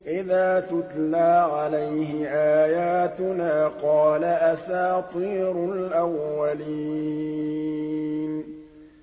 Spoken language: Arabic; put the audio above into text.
إِذَا تُتْلَىٰ عَلَيْهِ آيَاتُنَا قَالَ أَسَاطِيرُ الْأَوَّلِينَ